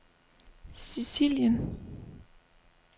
Sicilien